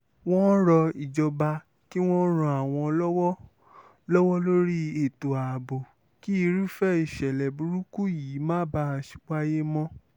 wọ́n rọ ìjọba kí wọ́n ran àwọn lọ́wọ́ lọ́wọ́ lórí ètò ààbò kí irúfẹ́ ìṣẹ̀lẹ̀ burúkú yìí má bàa wáyé mọ́